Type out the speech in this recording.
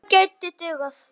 Hún gæti dugað.